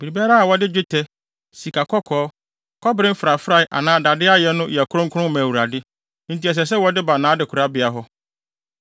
Biribiara a wɔde dwetɛ, sikakɔkɔɔ, kɔbere mfrafrae anaa dade ayɛ no yɛ kronkron ma Awurade, enti ɛsɛ sɛ wɔde ba nʼadekorabea hɔ.”